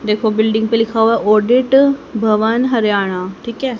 देखो बिल्डिंग पे लिखा हुआ ओडेट भवन हरियाणा ठीक है।